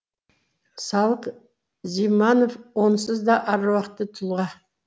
салық зиманов онсыз да аруақты тұлға